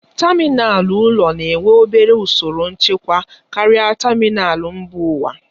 Tamịnal ụlọ na-enwe obere usoro nchekwa karịa tamịnal mba ụwa.